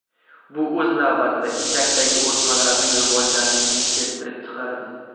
Bu, o‘z navbatida, ichakdagi o‘smalarning rivojlanishini keltirib chiqaradi.